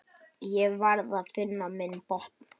Ég varð að finna minn botn.